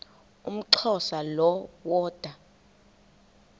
umxhosa lo woda